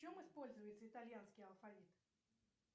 в чем используется итальянский алфавит